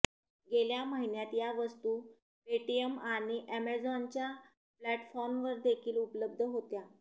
गेल्या महिन्यात या वस्तू पेटीएम आणि अॅमेझॉनच्या प्लॅटफॉर्मवरदेखील उपलब्ध होत्या